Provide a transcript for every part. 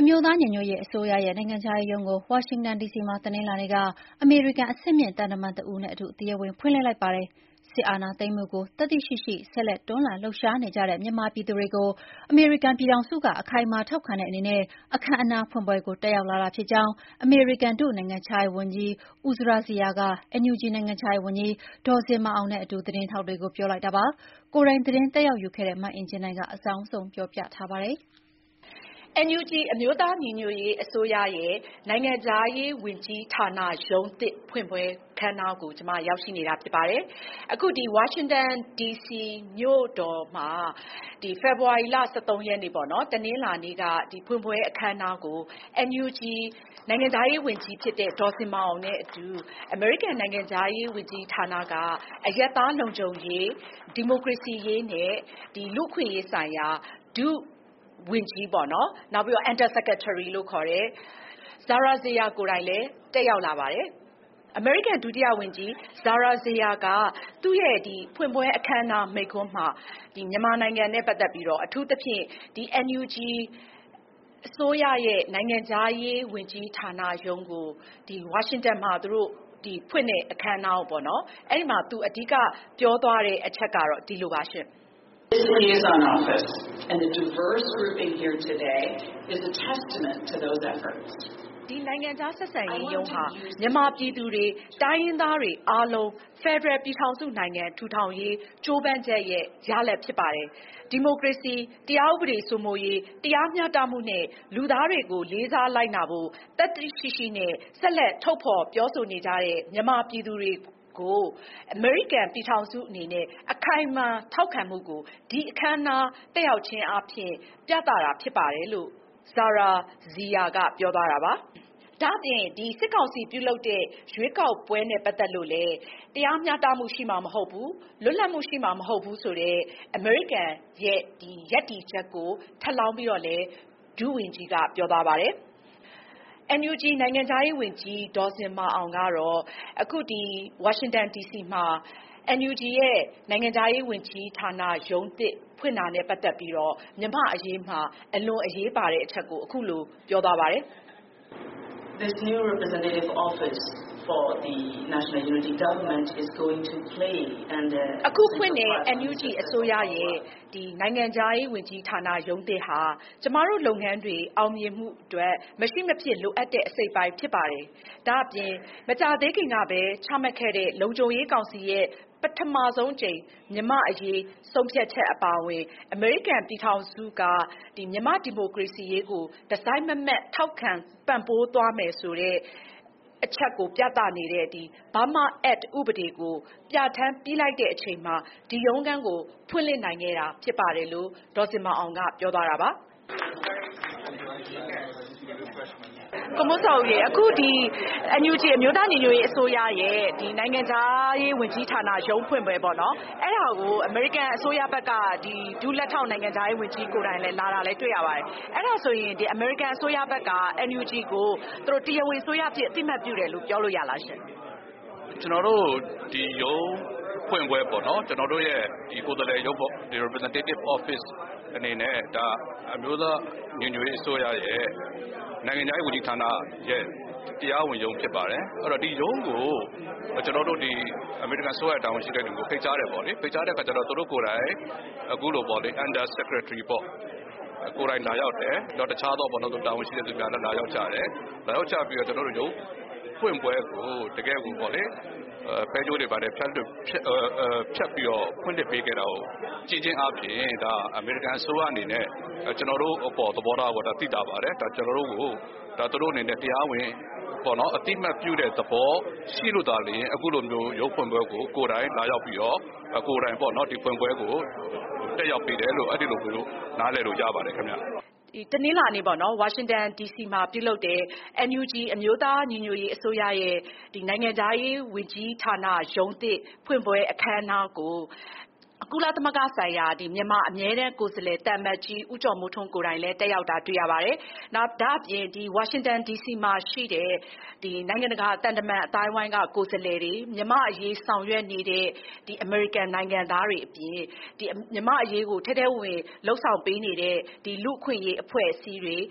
အမျိုးသားညီညွတ်ရေးအစိုးရရဲ့ နိုင်ငံခြားရေးရုံးကို ဝါရှင်တန်ဒီစီမှာ တနင်္လာနေ့က အမေရိကန် အဆင့်မြင့်သံတမန်တဦးနဲ့အတူ တရားဝင်ဖွင့်လှစ်လိုက်ပါတယ်။ စစ်အာဏာသိမ်းမှုကို သတ္တိရှိရှိ ဆက်လက်တွန်းလှန်လှုပ်ရှားနေကြတဲ့ မြန်မာပြည်သူတွေကို အမေရိကန်ပြည်ထောင်စုက အခိုင်အမာထောက်ခံတဲ့အနေနဲ့ အခမ်းအနားဖွင့်ပွဲကို တက်ရောက်လာတာဖြစ်ကြောင့် အမေရိကန် ဒုနိုင်ငံခြားရေးဝန်ကြီး (Under Secretary of State) Uzra Zeya က NUG နိုင်ငံခြားရေးဝန်ကြီး ဒေါ်ဇင်မာအောင်နဲ့အတူ သတင်းထောက်တွေကို ပြောလိုက်တာပါ။ ကိုယ်တိုင်သတင်းတက်ရောက်ယူခဲ့တဲ့ မအင်ကြင်းနိုင်က အကြောင်းစုံတင်ပြပေးထားပါတယ်။ NUG အမျိုးသားညီညွတ်ရေးအစိုးရရဲ့ နိုင်ငံခြားရေးဝန်ကြီးဌာနရုံးသစ်ဖွင့်ပွဲကို ဝါရှင်တန်ဒီစီမြို့တော်မှာ အခမ်းအနားနဲ့ဖွင့်လှစ်ခဲ့ပါတယ်။ ဝါရှင်တန်ဒီစီမြို့တော်မှာ ဖေဖေါ်ဝါရီလ ၁၃ ရက်၊ တနင်္လာနေ့က ဖွင့်ပွဲအခမ်းအနားကို NUG နိုင်ငံခြားရေးဝန်ကြီးဖြစ်တဲ့ ဒေါ်ဇင်မာအောင်နဲ့အတူ အမေရိကန်နိုင်ငံခြားရေးဝန်ကြီးဌာနက အရပ်သားလုံခြုံရေး၊ ဒီမိုကရေစီရေးနဲ့ လူ့အခွင့်အရေးဆိုင်ရာ ဒုနိုင်ငံခြားရေးဝန်ကြီး Uzra Zeya ကိုယ်တိုင်လည်း တက်ရောက်လာပါတယ်။ အမေရိကန်ဒုတိယဝန်ကြီး Uzra Zeya က အထူးသဖြင့် NUG အစိုးရရဲ့ ဝါရှင်တန်ဒီစီက နိုင်ငံခြားရေးဝန်ကြီးဌာနရုံးဖွင့်ပွဲအခမ်းအနားမိန့်ခွန်းမှာ မြန်မာနိုင်ငံနဲ့ပတ်သက်ပြီးတော့ အခုလို ပြောသွားပါတယ်။ “ဒီ နိုင်ငံခြားဆက်ဆံရေးရုံးဟာ မြန်မာပြည်သူတွေ၊ တိုင်းရင်းသားတွေအားလုံး ဖက်ဒရယ်ပြည်ထောင်စုနိုင်ငံထူထောင်ရေး ကြိုးပမ်းချက်ရဲ့ ရလဒ်ဖြစ်ပါတယ်။ ဒီမိုကရေစီ၊ တရားဥပဒေစိုးမိုးရေး၊ တရားမျှတမှုနဲ့ လူသားတွေကို လေးစားလိုက်နာဖို့ သတ္တိရှိရှိနဲ့ ဆက်လက် ထုတ်ဖော်ပြောဆိုနေကြတဲ့ မြန်မာပြည်သူတွေကို အမေရိကန်ပြည်ထောင်စုက အခိုင်အမာထောက်ခံမှုကို ဒီအခမ်းအနား တက်ရောက်ခြင်းအားဖြင့် ပြသတာဖြစ်ပါတယ်။” ဒါ့ပြင် စစ်ကောင်စီကလုပ်မယ့် ရွေးကောက်ပွဲနဲ့ပတ်သက်လို့လည်း တရားမျှတမှုရှိမှာမဟုတ်ဘူး၊ လွတ်လပ်မှုရှိမှာမဟုတ်ဘူးဆိုတဲ့ အမေရိကန်ရဲ့ရပ်တည်ချက်ကို ထပ်လောင်းပြီးတော့လည်း ဒုဝန်ကြီးက ပြောသွားပါတယ်။ NUG နိုင်ငံခြားရေးဝန်ကြီး ဒေါ်ဇင်မာအောင်ကတော့ အခု ဝါရှင်တန်ဒီစီမှာ NUG ရဲ့ နိုင်ငံခြားရေးဝန်ကြီးဌာန ရုံးသစ်ဖွင့်တာနဲ့ပတ်သက်ပြီးတော့ မြန်မာ့အရေးမှာ အလွန်အရေးပါတဲ့အချက်ကို အခုလို ပြောသွားပါတယ်။ “အခုဖွင့်တဲ့ NUG အစိုးရရဲ့နိုင်ငံခြားရေးဝန်ကြီးဌာနရုံးသစ်ဟာ ကျမတို့လုပ်ငန်းတွေအောင်မြင်မှုအတွက် မရှိမဖြစ် လိုအပ်တဲ့အစိတ်အပိုင်းဖြစ်ပါတယ်။ ဒါ့ပြင် မကြာသေးခင်ကပဲ ချမှတ်ခဲ့တဲ့ လုံခြုံရေးကောင်စီရဲ့ ပထမဆုံးအကြိမ်မြန်မာ့အရေးဆုံးဖြတ်ချက်အပါအဝင် အမေရိကန်ပြည်ထောင်စုက မြန်မာ့ဒီမိုကရေစီရေးကို တစိုက်မတ်မတ်ထောက်ခံ ပံ့ပိုးသွားမယ်ဆိုတဲ့အချက်ကို ပြသနေတဲ့ Burma Act ဥပဒေကို ပြဌာန်းပြီးလိုက်တဲ့အချိန်မှာ ဒီရုံးခန်းကို ဖွင့်လှစ်နိုင်ခဲ့တာဖြစ်ပါတယ်။”လို့ ပြောသွားတာပါ။ မေး။ ။ ကိုမိုးဇော်ဦးရေ၊ အခု ဒီ NUG အမျိုးသားညီညွတ်ရေးအစိုးရရဲ့ နိုင်ငံခြားရေးဝန်ကြီးဌာနရုံးဖွင့်ပွဲကို အမေရိကန်အစိုးရဘက်က ဒုလက်ထောက် နိုင်ငံခြားရေးဝန်ကြီးကိုယ်တိုင်လည်း လာတာတွေ့ရပါတယ်။ အဲဒါဆိုရင် အမေရိကန်အစိုးရဘက်က NUG ကို တရားဝင်အစိုးရအဖြစ် အသိအမှတ်ပြုတယ်လို့ ပြောလို့ရလားရှင့်။ ဖြေ။ ။ ကျနော်တို့ရဲ့ဒီကိုယ်စားလှယ်ရုံးဖွင့်ပွဲပေါ့နော်၊ ကျနော်တို့ရဲ့ကိုယ်စားလှယ်ရုံးပေါ့။ Representative office အနေနဲ့ - အမျိုးသားညီညွတ်ရေးအစိုးရရဲ့ နိုင်ငံခြားရေးဝန်ကြီးဌာနရဲ့ တရားဝင်ရုံးဖြစ်ပါတယ်။ အဲဒီတော့ ဒီရုံးကို အမေရိကန်အစိုးရရဲ့ တာဝန်ရှိတဲ့သူကို ဖိတ်ကြားတယ်ပေါ့လေ။ ဖိတ်ကြားတဲ့အခါကျတော့ သူတို့ကိုယ်တိုင် အခုလို (Under Secretary ပေါ့၊ လာရောက်တယ်။ တခြားသော တာဝန်ရှိသူများလည်း လာရောက်ကြတယ်။ လာရောက်ကြပြီးတော့ ရုံးဖွင့်ပွဲကို တကယ့်ကို ဖဲကြိုးတွေဘာတွေဖြတ်ပြီးတော့ ဖွင့်လှစ်ပေးခဲ့တာကို ကြည့်ခြင်းအားဖြင့် အမေရိကန်အစိုးရအနေနဲ့ ကျနော်တို့အပေါ်သဘောထားကို သိသာပါတယ်။ ကျနော်တို့ကို တရားဝင်အသိအမှတ်ပြုတဲ့သဘောရှိလို့သာလျှင် အခုလို ရုံးဖွင့်ပွဲကို ကိုယ်တိုင်လာရောက်ပြီးတော့ ကိုယ်တိုင် ဒီဖွင့်ပွဲကို တက်ရောက်ပေးတယ်လို့ အဲဒီလိုမျိုး နားလည်ပေးလို့ရပါတယ်ခင်ဗျ။” တနင်္လာနေ့ ဝါရှင်တန်ဒီစီမှာပြုလုပ်တဲ့ NUG အမျိုးသားညီညွတ်ရေးအစိုးရရဲ့ နိုင်ငံခြားရေးဝန်ကြီးဌာနရုံးသစ် ဖွင့်ပွဲအခမ်းအနားကို ကုလသမဂ္ဂဆိုင်ရာ မြန်မာအမြဲတမ်းကိုယ်စားလှယ် သံအမတ်ကြီး ဦးကျော်မိုးထွန်းကိုယ်တိုင်လည်း တက်ရောက်တာတွေ့ရပါတယ်။ ဒါ့ပြင် ဝါရှင်တန်ဒီစီမှာရှိတဲ့ နိုင်ငံတကာသံတမန်အသိုင်းအဝိုင်းက ကိုယ်စားလှယ်တွေ။ မြန်မာ့အရေးဆောင်ရွက်နေတဲ့ အမေရိကန်နိုင်ငံသားတွေအပြင် မြန်မာ့အရေးကို ထဲထဲဝင်ဝင်လုပ်ဆောင်ပေးနေတဲ့ လူ့အခွင့်အရေးအဖွဲ့အစည်းတွေ၊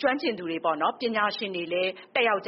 ကျွမ်းကျင်ပညာရှင်တွေလည်း တက်ရောက်ခဲ့က